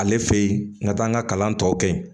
Ale fe yen n ka taa n ka kalan tɔ kɛ yen